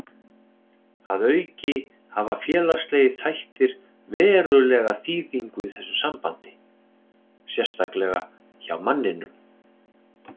Að auki hafa félagslegir þættir verulega þýðingu í þessu sambandi, sérstaklega hjá manninum.